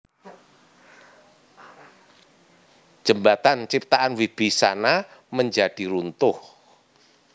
Jembatan ciptaan Wibisana menjadi runtuh